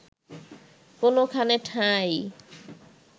কোনোখানে ঠাঁই